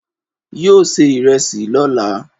Yóò se ìrẹẹsì lóla